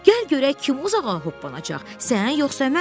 Gəl görək kim uzağa hoppanacaq, sən yoxsa mən?